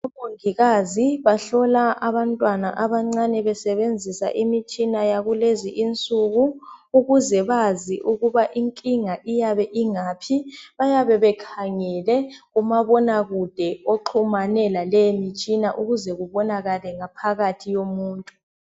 Omongikazi bahlola abantwana abancane besebenzisa imitshina yakulezi insuku ukuze bazi ukuba inkinga iyabe ingaphi bayabe bekhangele kumabona kude oxhumane laleyi mitshina ukuze kubonakale ngaphakathi yomuntu.